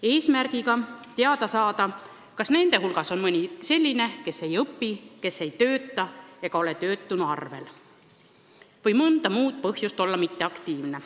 Eesmärk on teada saada, kas nende hulgas on mõni selline, kes ei õpi, ei tööta, ei ole töötuna arvel või kes on mõnel muul põhjusel mitteaktiivne.